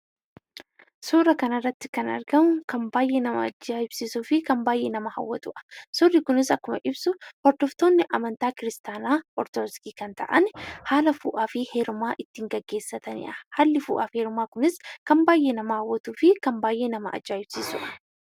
Suuraa kana irratti wanti argamu kan baay'ee nama ajaa'ibsiisuu fi kan nama hawwatuudha. Suurri kunis akkuma ibsu, hordoftoonni amantaa Kiristaanaa Ortodoksii kan ta'an haala fuudhaa fi heerumaa ittiin gaggeessataniidha. Haalli fuudhaa fi heerumaa kunis kan baay'ee nama hawwatuu fi kan baay'ee nama ajaa'ibsiisuudha.